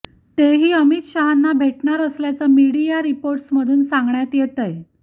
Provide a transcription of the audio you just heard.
तेही अमित शहांना भेटणार असल्याचं मीडिया रिपोर्ट्समधून सांगण्यात येतंय